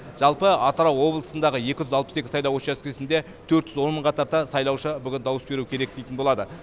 жалпы атырау облысындағы екі жүз алпыс екі сайлау учаскесінде төрт жүз он мыңға тарта сайлаушы бүгін дауыс беру керек дейтін болады